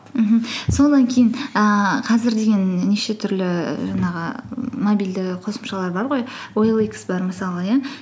мхм содан кейін ііі қазір деген неше түрлі жаңағы мобильді қосымшалар бар ғой оликс бар мысалы иә